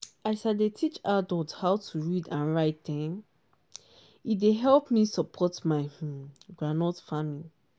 as i dey teach adult how to read and write e um dey help me support my um groundnut farming.